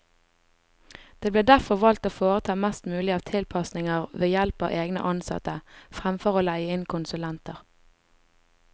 Det ble derfor valgt å foreta mest mulig av tilpasninger ved help av egne ansatte, fremfor å leie inn konsulenter.